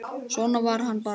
Svona var hann bara.